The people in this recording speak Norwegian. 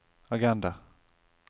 agenda